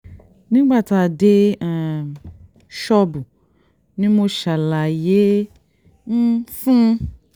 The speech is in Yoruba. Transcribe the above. nígbà tá a dé um ṣọ́ọ̀bù ni mo ṣàlàyé um fún un